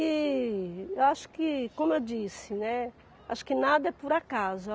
E acho que, como eu disse, né, acho que nada é por acaso.